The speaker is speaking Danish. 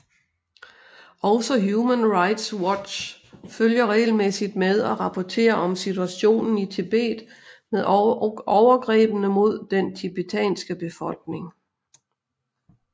Også Human Rights Watch følger regelmæssigt med og rapporterer om situationen i Tibet med overgrebene mod den tibetanske befolkning